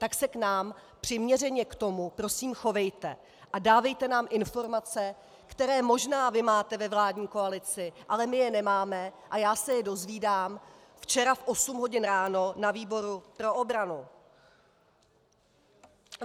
Tak se k nám přiměřeně k tomu prosím chovejte a dávejte nám informace, které možná vy máte ve vládní koalici, ale my je nemáme a já se je dozvídám včera v osm hodin ráno na výboru pro obranu.